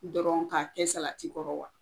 U dɔrɔn ka kɛ salati kɔrɔ wa?